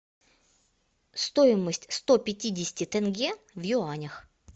стоимость сто пятидесяти тенге в юанях